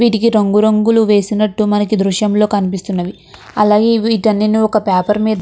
వీటికి రంగు రంగులు వేసినట్టు మనకి ఈ దృశ్యంలో కనిపిస్తున్నవి అలాగే విటిన్నని ఒక పేపర్ మీద.